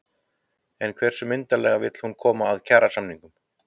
En hversu myndarlega vill hún koma að kjarasamningum?